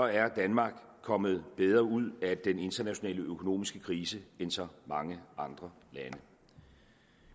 er danmark kommet bedre ud af den internationale økonomiske krise end så mange andre lande